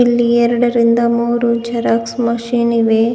ಇಲ್ಲಿ ಎರಡರಿಂದ ಮೂರು ಜರಾಕ್ಸ್ ಮಷೀನ್ ಇವೆ.